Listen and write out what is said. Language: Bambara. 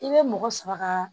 I bɛ mɔgɔ saba kaaa